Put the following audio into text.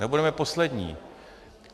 Nebudeme poslední.